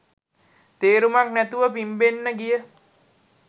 තේරුමක් නැතිව පිම්බෙන්න ගිය